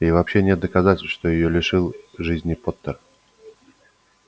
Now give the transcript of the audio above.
и вообще нет доказательств что её лишил жизни поттер